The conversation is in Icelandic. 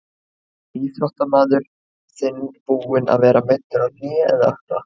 Er íþróttamaður þinn búinn að vera meiddur á hné eða ökkla?